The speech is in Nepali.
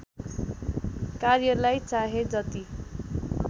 कार्यलाई चाहे जति